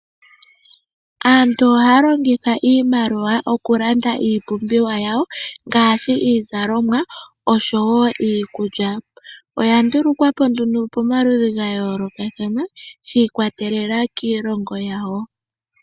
Aantu ohaya longitha iimaliwa okulanda iipumbiwa yawo ngaashi iizalomwa oshowoo iikulya. Oya ndulukwapo nduno pomaludhi gayoolokathana, shi ikwatelela kiilongo yawo.